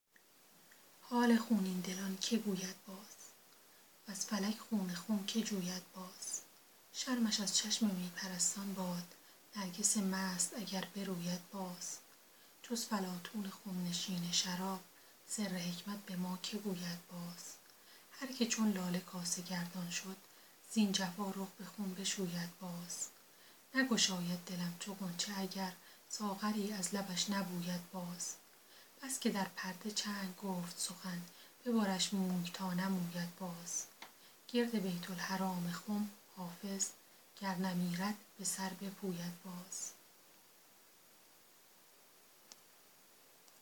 حال خونین دلان که گوید باز وز فلک خون خم که جوید باز شرمش از چشم می پرستان باد نرگس مست اگر بروید باز جز فلاطون خم نشین شراب سر حکمت به ما که گوید باز هر که چون لاله کاسه گردان شد زین جفا رخ به خون بشوید باز نگشاید دلم چو غنچه اگر ساغری از لبش نبوید باز بس که در پرده چنگ گفت سخن ببرش موی تا نموید باز گرد بیت الحرام خم حافظ گر نمیرد به سر بپوید باز